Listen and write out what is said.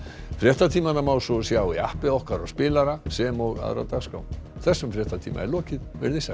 fréttatímana má svo sjá í appi okkar og spilara sem og aðra dagskrá þessum fréttatíma er lokið veriði sæl